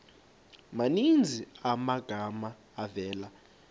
maninzi amagama avela